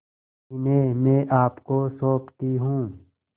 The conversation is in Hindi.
इन्हें मैं आपको सौंपती हूँ